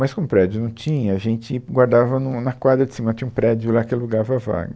Mas como o prédio não tinha, a gente guardava nu, na quadra de cima, tinha um prédio lá que alugava a vaga.